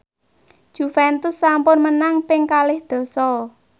Juventus sampun menang ping kalih dasa